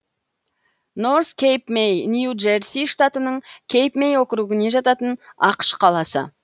норс кэйп мэй нью джерси штатының кейп мэй округіне жататын ақш қаласы